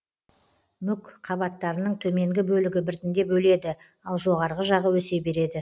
мүк қабаттарының төменгі бөлігі біртіндеп өледі ал жоғарғы жағы өсе береді